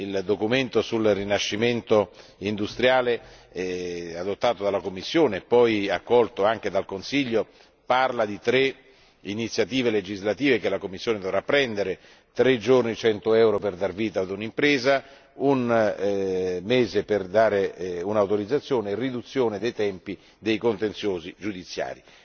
Il documento sul rinascimento industriale adottato dalla Commissione, poi accolto anche dal Consiglio cita tre iniziative legislative che la Commissione dovrà prendere 3 giorni e 100 euro per dar vita a un'impresa, un mese per concedere un'autorizzazione e riduzione dei tempi dei contenziosi giudiziari.